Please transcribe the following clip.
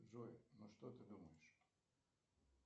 джой ну что ты думаешь